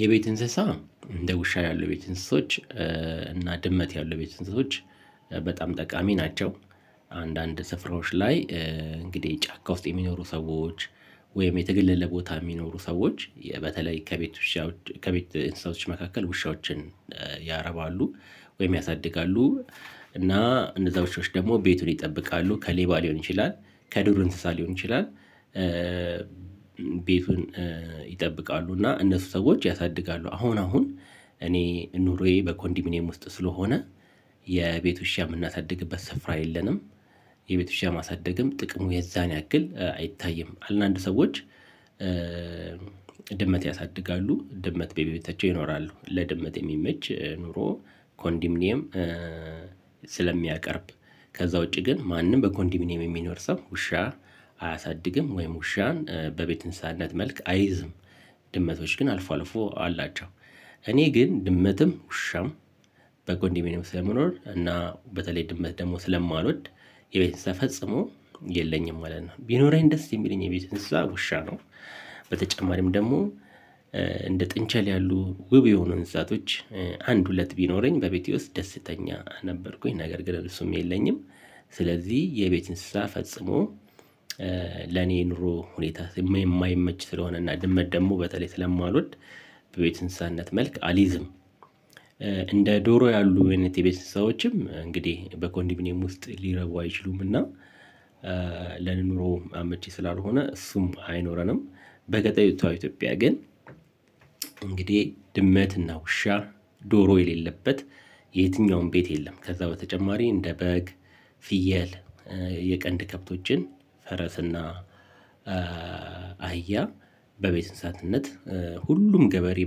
የቤት እንስሳ እንደ ውሻ ያሉ የቤት እንስሶች እና ድመት ያሉ ቤት እንስሶች በጣም ጠቃሚ ናቸው። አንዳንድ ስፍራዎች ላይ እንግዲህ ጫካ ውስጥ የሚኖሩ ሰዎች። ወይም የተገለለ ቦታ የሚኖሩ ሰዎች በተለይ ከቤት ውሻ ከቤት እንስሳዎች መካከል ውሻዎችን ያረባሉ ወይም ያሳድጋሉ። እና እነዛ ውሾች ደግሞ ቤቱን ይጠብቃሉ ከሌባ ሊሆን ይችላል ከዱር እንስሳ ሊሆን ይችላል። ቤቱን ይጠብቃሉ እና እነሱ ሰዎች ያሳድጋሉ አሁን አሁን እኔ ኑሮዬ በኮንዲሚኒየም ውስጥ ስለሆነ የቤቱ ውሻ የምናሳድግበት ስፍራ የለንም። የቤት ውሻ ማሳደግም ጥቅሙ የዛን ያክል አይታይም አንዳንድ ሰዎች። ድመት ያሳድጋሉ ድመት በቤታቸው ይኖራሉ ለድመት የሚመች ኑሮ ኮንዲሚኒየም ስለሚያቀርብ። ከዛ ውጪ ግን ማንም በኮንዲሚኒየም የሚኖር ሰው ውሻ አያሳድግም ወይም ውሻን በቤት እንስሳነት መልክ አይዝም። ድመቶች ግን አልፎ አልፎ አላቸው። እኔ ግን ድመትም ውሻም በኮንዶሚንየም ስለመኖር እና በተለይ ድመት ደግሞ ስለማልወድ የቤት እንስሳ ፈፅሜ የለኝም ማለት ነው። ቢኖረኝ ደስ የሚለኝ የቤት እንስሳ ውሻ ነው። በተጨማሪም ደግሞ እንደ ጥንቸል ያሉ ውብ የሆኑ እንስሳቶች አንድ ሁለት ቢኖረኝ በቤቴ ውስጥ ደስተኛ ነበርኩኝ ነገር ግን እነሱም የለኝም። ስለዚህ የቤት እንስሳ ፈጽሞ ለኔ ኑሮ ሁኔታ የማይመች ስለሆነ እና ድመት ደግሞ በተለይ ስለማልወድ በቤት እንስሳነት መልክ አልይዝም። እንደ ዶሮ ያሉ አይነት የቤት እንስሳዎችም እንግዲህ በኮንዲሚኒየም ውስጥ ሊረቡ አይችሉምና። ለኑሮ አመቺ ስላልሆነ እሱም አይኖረንም። በገጠሪቷ ኢትዮጲያ ግን እንግዲህ ድመትና ውሻ ዶሮ የሌለበት የትኛውም ቤት የለም። ከዛ በተጨማሪ እንደ በግ ፍየል የቀንድ ከብቶችን ፈረስና አህያ በቤት እንስሳትነት ሁሉም ገበሬ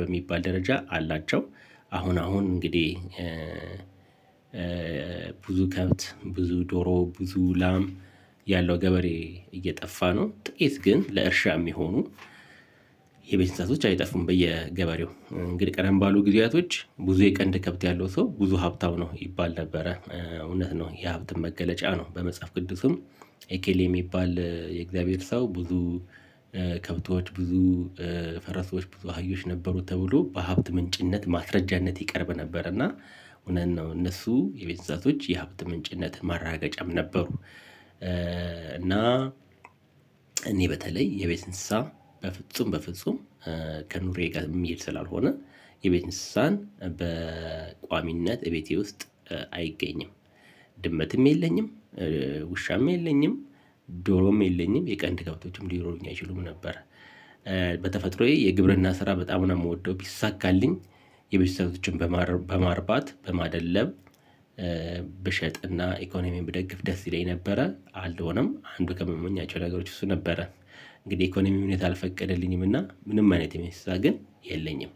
በሚባል ደረጃ አላቸው። አሁን አሁን እንግዲህ ብዙ ከብት ብዙ ዶሮ ብዙ ላም ያለው ገበሬ እየጠፋ ነው። ጥቂት ግን ለእርሻ የሚሆኑ የቤት እንስሳቶት አይጠፉም። በየገበሬው እንግዲህ ቀደም ባሉ ጊዜያቶች ብዙ የቀንድ ከብት ያለው ሰው ብዙ ሀብታው ነው ይባል ነበረ እውነት ነው። የሀብት መገለጫ ነው። በመጽሐፍ ቅዱስም እከሎ የሚባል የእግዚአብሔር ሰው ብዙ ከብቶች ብዙ ፈረሶች ብዙ አህዮች ነበሩት ተብሎ በሀብት ምንጭነት ማስረጃነት ይቀርብ ነበር። እና እውነት ነው እነሱ የቤት እንስሳቶች የሀብት ምንጭነት ማረጋገጫም ነበሩ። እና እኔ በተለይ የቤት እንስሳ በፍጹም በፍጹም ከኑሬ ጋር የሚሄድ ስላልሆነ የቤት እንስሳን በቋሚነት እቤቴ ውስጥ አይገኝም። ድመትም የለኝም ውሻም የለኝም ዶሮም የለኝም የቀን የቀንድ ከብቶችም ሊኑሮኝ አይችሉም ነበር። በተፈጥሮዬ የግብርና ስራ በጣም ነው የምወደው ቢሳካልኝ የቤተሰቦችን በማርባት በማደለብ ብሸጥና ኢኮኖሚየን ብደግፍ ደስ ይለኝ ነበረ አልሆነም አንዱ ከምመኛቸው ነገሮች እሱ ነበረ። እንግዲህ ኢኮኖሚ ሁኔታ አልፈቀደልኝም እና ምንም አይነት የቤት እንስሳ ግን የለኝም።